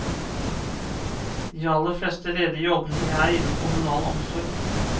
De aller fleste ledige jobbene er innen kommunal omsorg.